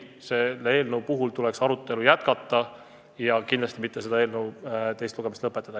Selle eelnõu arutelu tuleks jätkata ja kindlasti mitte teist lugemist lõpetada.